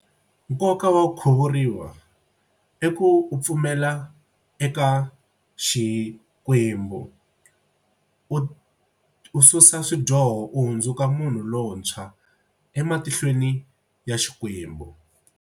Nkoka wa ku khuvuriwa i ku u pfumela eka Xikwembu u u susa swidyoho u hundzuka munhu lontshwa ematihlweni ya Xikwembu.